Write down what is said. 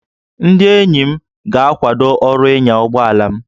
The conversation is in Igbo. Ndị enyi m ga-akwado ọrụ ịnya ụgbọ ala m